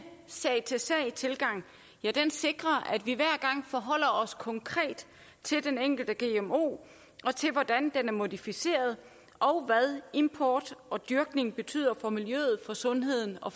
sag til sag tilgang sikrer at vi hver gang forholder os konkret til den enkelte gmo og til hvordan den er modificeret og hvad import og dyrkning betyder for miljøet sundheden og